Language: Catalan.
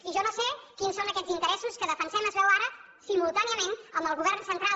i jo no sé quins són aquests interessos que defensem es veu ara simultàniament amb el govern central